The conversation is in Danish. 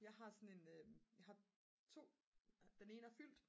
jeg har sådan en jeg har 2 den ene er fyldt